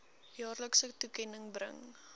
jaarlikse toekenning bring